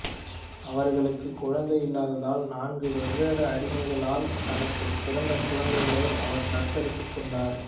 அவர்களுக்கு குழந்தை இல்லாததால் நான்கு வெவ்வேறு அடிமைகளால் தனக்கு பிறந்தகுழந்தைகளை அவர் தத்தெடுத்துக் கொண்டார்